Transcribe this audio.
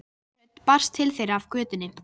Hávær rödd barst til þeirra af götunni